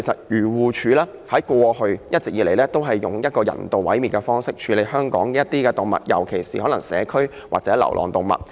漁護署過去一直以人道毀滅方式，處理香港一些動物，尤其是社區或流浪動物。